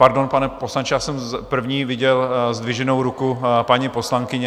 Pardon, pane poslanče, já jsem první viděl zdviženou ruku paní poslankyně.